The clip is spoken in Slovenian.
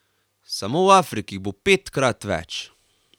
Samo v Afriki jih bo petkrat več!